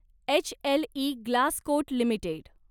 HLE Glascoat limited